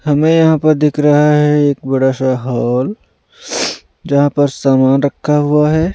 हमें यहां पर दिख रहा है एक बड़ा सा हॉल जहां पर सामान रखा हुआ है।